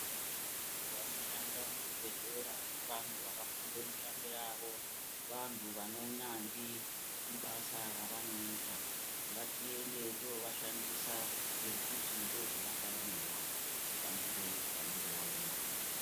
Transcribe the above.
Vanhu vanoshanda muzvibhedhlera Vantu vanoshanda kubasa rawo vantu ravanoita kunge veishandisa ngekuti ndozvavakaemera kushandire vanenge vauya.